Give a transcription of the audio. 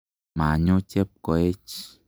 Manyo Chepkoech.